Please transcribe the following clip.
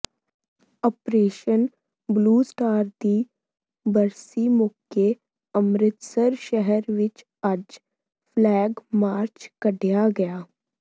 operation blue star ਦੀ ਬਰਸੀ ਮੌਕੇ ਅੰਮ੍ਰਿਤਸਰ ਸ਼ਹਿਰ ਵਿਚ ਅੱਜ ਫਲੈਗ ਮਾਰਚ ਕੱਢਿਆ ਗਿਆ